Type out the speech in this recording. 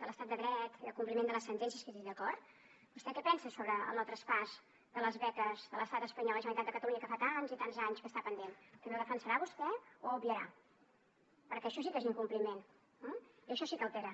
de l’estat de dret i al compliment de les sentències que jo dic d’acord què pensa sobre el no traspàs de les beques de l’estat espanyol a la generalitat de catalunya que fa tants i tants anys que està pendent també ho defensarà vostè o ho obviarà perquè això sí que és incompliment eh i això sí que altera